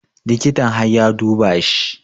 Likitan har ya duba shi